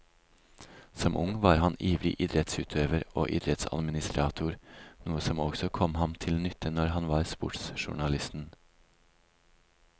Som ung var han ivrig idrettsutøver og idrettsadministrator, noe som også kom ham til nytte når han var sportsjournalisten.